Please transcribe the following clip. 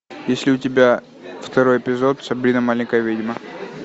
есть ли у тебя второй эпизод сабрина маленькая ведьма